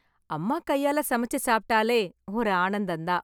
அம்மா கையால சமைத்து சாப்பிட்டாலே ஒரு ஆனந்தம் தான்